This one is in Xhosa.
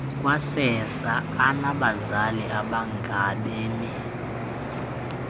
kwasersa onabazali abangabemi